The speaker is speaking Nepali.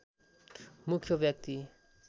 मुख्य व्यक्ति